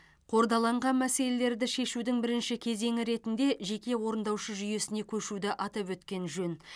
қордаланған мәселелерді шешудің бірінші кезеңі ретінде жеке орындаушы жүйесіне көшуді атап өткен жөн